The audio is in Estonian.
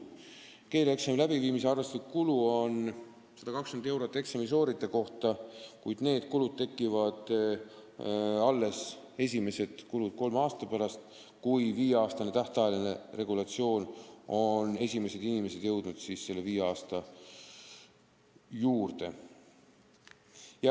Keeleeksami läbiviimise arvestuslik kulu on 120 eurot eksami sooritaja kohta, kuid esimesed kulud tekivad alles kolme aasta pärast, kui esimesed inimesed on jõudnud siin viis aastat elada.